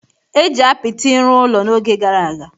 e ji apịtị rụọ ụlọ n’oge gara aga